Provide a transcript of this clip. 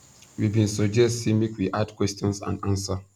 we bin suggest say make we add questions and answer